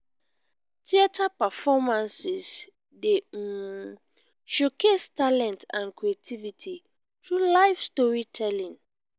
theater performances dey um showcase talent and creativity through live storytelling.